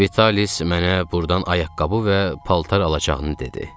Vitalis mənə burdan ayaqqabı və paltar alacağını dedi.